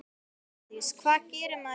Bryndís: Hvað gerir maður í skólanum?